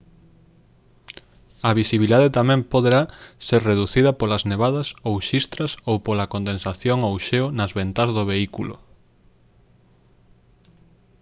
a visibilidade tamén poderá ser reducida polas nevadas ou xistras ou pola condensación ou xeo nas ventás do vehículo